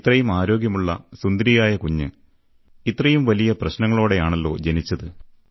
ഇത്രയും ആരോഗ്യമുള്ള സുന്ദരിയായ കുഞ്ഞ് ഇത്രയും വലിയ പ്രശ്നവുമായാണല്ലേ ജനിച്ചത്